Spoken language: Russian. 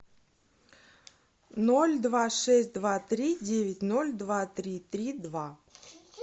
ноль два шесть два три девять ноль два три три два